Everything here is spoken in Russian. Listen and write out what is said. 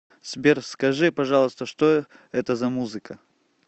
сбер скажи пожалуйста что это за музыка